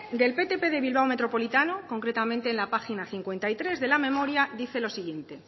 del ptp de bilbao metropolitano concretamente en la página cincuenta y tres de la memoria dice lo siguiente